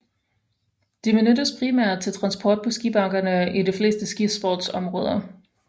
De benyttes primært til transport på skibakkerne i de fleste skisportsområder